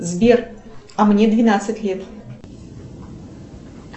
сбер а мне двенадцать лет